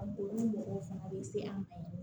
A bon mɔgɔw fana bɛ se an ma yen